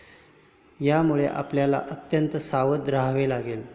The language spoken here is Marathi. यामुळे आपल्याला अत्यंत सावध रहावे लागेल.